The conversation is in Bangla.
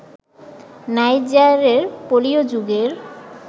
নাইজারের পলীয় যুগের